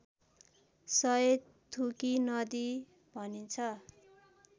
सय थुकी नदी भनिन्छ